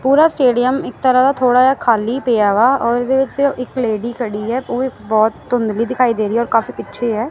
ਪੂਰਾ ਸਟੇਡੀਅਮ ਇਕ ਤਰ੍ਹਾਂ ਦਾ ਥੋੜ੍ਹਾ ਖਾਲੀ ਪਿਆ ਵਾਂ ਔਰ ਓਹਦੇ ਵਿੱਚ ਸਿਰਫ ਇੱਕ ਲੇਡੀ ਖੜੀ ਆ ਉਹ ਵੀ ਬਹੁਤ ਧੁੰਧਲੀ ਦਿਖਾਈ ਦੇ ਰਹੀ ਐ ਔਰ ਕਾਫੀ ਪਿੱਛੇ ਐ।